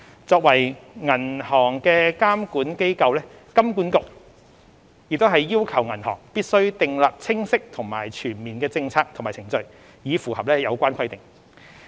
作為銀行的監管機構，金管局也要求銀行必須訂立清晰及全面的政策和程序，以符合有關規定。